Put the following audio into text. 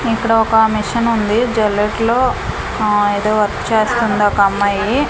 ఇక్కడ ఒక మిషన్ ఉంది జల్లెట్లో ఆ ఎదో వర్క్ చేస్తుంది ఒక అమ్మాయి.